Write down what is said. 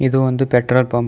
ಇದು ಒಂದು petrol pump .